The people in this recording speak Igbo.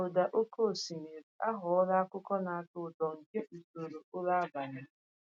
Ịge ụda oke osimiri aghọla akụkụ na-atọ ụtọ nke usoro ụra abalị m.